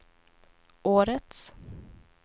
årets